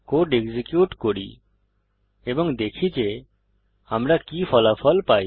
code execute করি এবং দেখি যে আমরা কি ফলাফল পাই